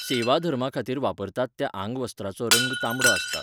सेवाधर्माखातीर वापरतात त्या आंगवस्त्रांचो रंग तांबडो आसता.